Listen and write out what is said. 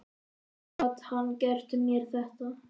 Hvernig gat hann gert mér þetta?